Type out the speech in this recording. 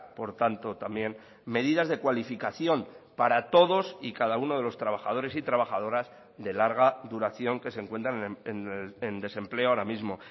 por tanto también medidas de cualificación para todos y cada uno de los trabajadores y trabajadoras de larga duración que se encuentran en desempleo ahora mismo